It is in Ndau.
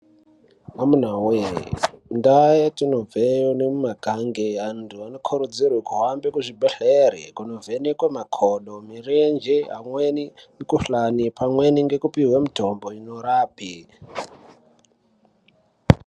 Amuna woyee ndau yetinobveyo nemwakange antu anokurudzirwa kuhambe kuzvibhendleri kunovhenekwa makodo, mirenje. Pamweni mikhuhlani. Pamweni kupihwa mitombo inorape.